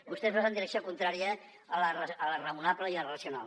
vostès van en direcció contrària a la raonable i la racional